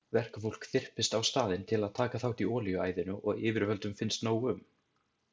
Verkafólk þyrpist á staðinn til að taka þátt í olíuæðinu og yfirvöldum finnst nóg um.